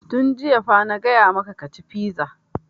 Tun jiya fa na gaya maka ka ci fiza!